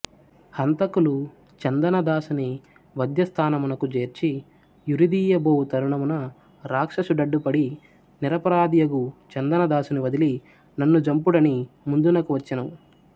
హంతకులు చందనదాసుని వధ్యస్థానమునకు జేర్చి యురిదీయబోవు తరుణమున రాక్షసు డడ్డుపడి నిరపరాధియగు చందనదాసుని వదలి నన్ను జంపుడని ముందునకు వచ్చెను